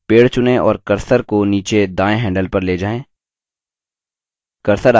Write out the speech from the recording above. पेड़ चुनें और cursor को नीचेदायें handle पर ले जाएँ